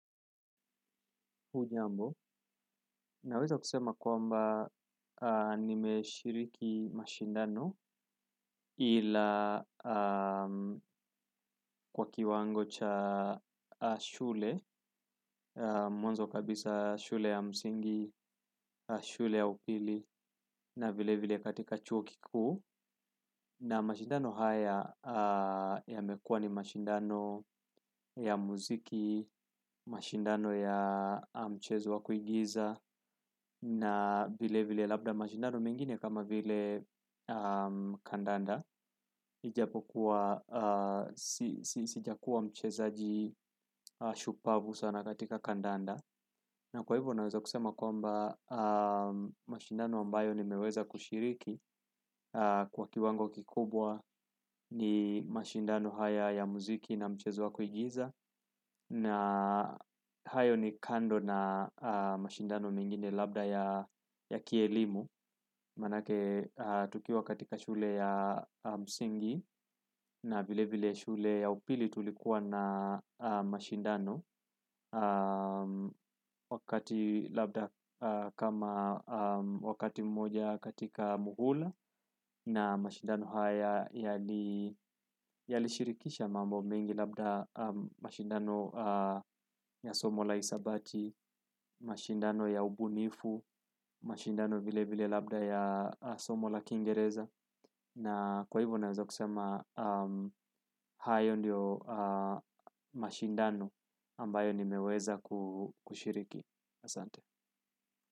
Na weza kusema kwamba nime shiriki mashindano ila kwa kiwango cha shule, mwanzo kabisa shule ya msingi, shule ya upili na vile vile katika chuo kikuu. Na mashindano haya ya mekua ni mashindano ya muziki, mashindano ya mchezo wa kuigiza na vile vile labda mashindano mengine kama vile kandanda ijapokuwa sijakua mcheza ji shupavu sana katika kandanda na kwa hivyo naweza kusema kwamba mashindano ambayo ni meweza kushiriki kwa kiwango kikubwa ni mashindano haya ya muziki na mchezo waku igiza na hayo ni kando na mashindano mengine labda ya kielimu maanake tukiwa katika shule ya msingi na vile vile shule ya upili tulikuwa na mashindano wakati labda kama wakati mmoja katika muhula na mashindano haya yali shirikisha mambo mengi labda mashindano ya somola hisabati, mashindano ya ubunifu, mashindano vile vile labda ya somola Kingereza. Na kwa hivyo naweza kusema, hayo ndiyo mashindano ambayo ni meweza kushiriki. Asante.